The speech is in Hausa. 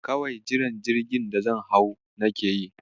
Kawai jiran jirgin da zan hau nake yi.